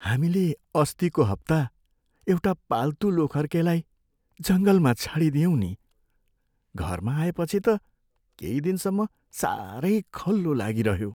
हामीले अस्तिको हप्ता एउटा पाल्तु लोथर्केलाई जङ्गलमा छाडिदियौँ नि। घरमा आएपछि त केही दिनसम्म साह्रै खल्लो लागिरह्यो।